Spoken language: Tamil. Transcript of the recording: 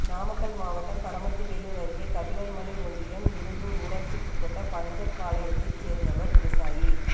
நாமக்கல் மாவட்டம் பரமத்திவேலூர் அருகே கபிலர்மலை ஒன்றியம் இருகூர் ஊராட்சிக்குட்பட்ட பஞ்சப்பாளையத்தைச் சேர்ந்தவர் விவசாயி